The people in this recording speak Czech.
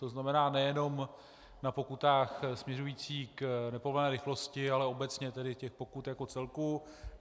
To znamená, nejenom na pokutách směřující k nepovolené rychlosti, ale obecně, tedy těch pokut jako celku.